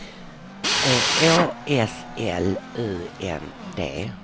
Å S L U N D